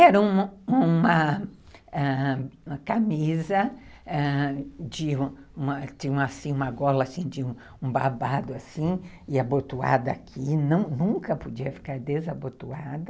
Era uma uma ãh camisa, ãh, tinha uma gola de um barbado e abotoada aqui, nunca podia ficar desabotoada.